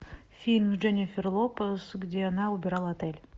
фильм с дженнифер лопес где она убирала отель